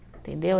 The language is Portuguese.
Entendeu?